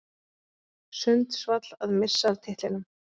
Sundsvall að missa af titlinum